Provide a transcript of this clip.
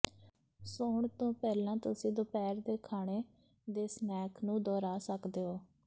ਸੌਣ ਤੋਂ ਪਹਿਲਾਂ ਤੁਸੀਂ ਦੁਪਹਿਰ ਦੇ ਖਾਣੇ ਦੇ ਸਨੈਕ ਨੂੰ ਦੁਹਰਾ ਸਕਦੇ ਹੋ